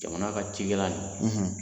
Jamana ka cikɛla in.